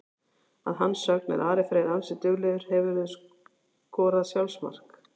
Að hans eigin sögn er Ari Freyr ansi duglegur Hefurðu skorað sjálfsmark?